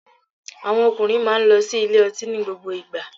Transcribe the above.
Àwọn ọkùnrin má a nlo sí ilé ọtí ní gbogbo ìgba